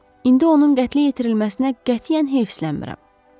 İndi onun qətlə yetirilməsinə qətiyyən heyslənirəm.